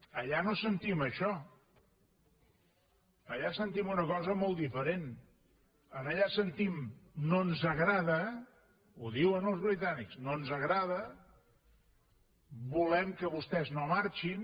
allà no sentim això allà sentim una cosa molt diferent allà sentim no ens agrada ho diuen els britànics no ens agrada volem que vostès no marxin